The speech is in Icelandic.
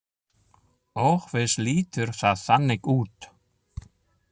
Og víst lítur það þannig út.